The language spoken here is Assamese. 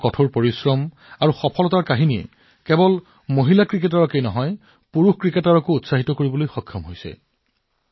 তেওঁৰ কঠোৰ পৰিশ্ৰম আৰু সফলতাৰ কাহিনী কেৱল মহিলা ক্ৰিকেটাৰৰ বাবেই নহয় পুৰুষ ক্ৰিকেটাৰসকলৰ বাবেও এক অনুপ্ৰেৰণাৰ বিষয়